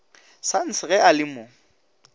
sons ge a le mo